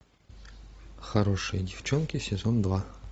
хорошие девчонки сезон два